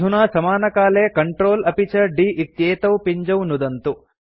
अधुना समानकाले Ctrl अपि च d इत्येतौ पिञ्जौ नुदन्तु